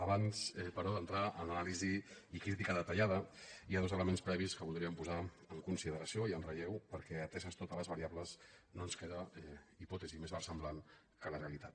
abans però d’entrar en l’anàlisi i crítica detallada hi ha dos elements previs que voldríem posar en consi·deració i en relleu perquè ateses totes les variables no ens queda hipòtesi més versemblant que la realitat